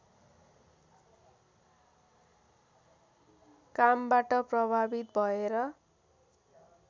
कामबाट प्रभावित भएर